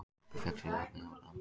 Bankinn féll síðan síðar sama dag